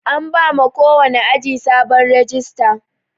An bama kowani aji sabon rajista.